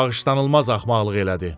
Bağışlanılmaz axmaqlıq elədi.